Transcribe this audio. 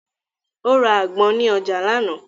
Ó ra àgbọn ní ọjà lánàá.